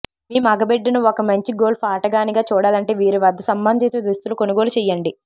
మీ మగబిడ్డను ఒక మంచి గోల్ఫ్ ఆటగానిగా చూడాలంటే వీరి వద్ద సంబంధిత దుస్తులు కొనుగోలు చేయండి